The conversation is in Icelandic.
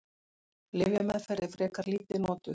Lyfjameðferð er frekar lítið notuð.